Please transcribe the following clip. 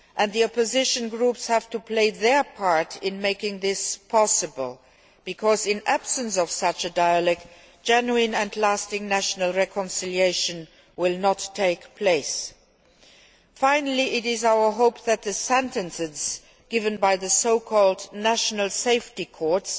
The opposition groups have to play their part in making this possible, because in the absence of such a dialogue genuine and lasting national reconciliation will not take place. Finally, it is our hope that the sentences given by the so called national safety courts',